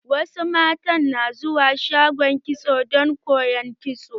Wasu mata na zuwa shagon kitso don koyan kitso.